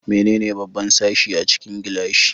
Menene babban sashi a cikin gilashi?